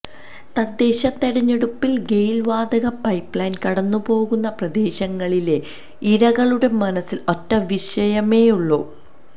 തദ്ദേശ തെരഞ്ഞെടുപ്പില് ഗെയില് വാതക പൈപ്പ്ലൈന് കടന്നുപോകുന്ന പ്രദേശങ്ങളിലെ ഇരകളുടെ മനസ്സില് ഒറ്റ വിഷയമേയുള്ളൂ